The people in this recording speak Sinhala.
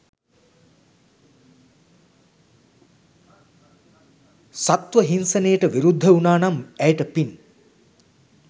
සත්ත්ව හින්සනයට විරුද්ධ උනානම් ඇයට පින්.